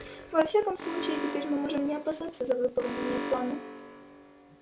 во всяком случае теперь мы можем не опасаться за выполнение плана